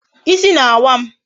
Ịsị na-awa m